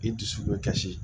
I dusu bɛ kasi